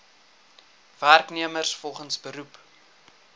werknemers volgens beroep